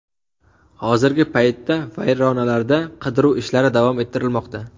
Hozirgi paytda vayronalarda qidiruv ishlari davom ettirilmoqda.